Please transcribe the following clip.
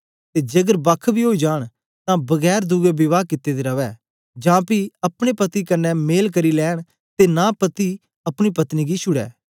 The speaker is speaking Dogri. ते जेकर बक्ख बी ओई जांन तां बगैर दुए विवाह कित्ते दे रवै जां पी अपने पति कन्ने मेल करी लैंन ते नां पति अपनी पत्नी गी छुड़ै